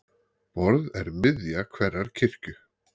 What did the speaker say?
Borð er miðja hverrar kirkju.